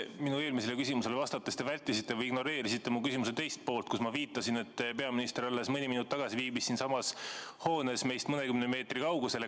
Minu eelmisele küsimusele vastates te vältisite või ignoreerisite mu küsimuse teist poolt, kus ma viitasin, et peaminister alles mõni minut tagasi viibis siinsamas hoones meist mõnekümne meetri kaugusel.